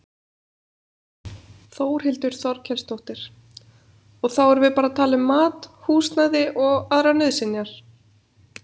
Þórhildur Þorkelsdóttir: Og þá erum við bara að tala um mat, húsnæði og aðrar nauðsynjar?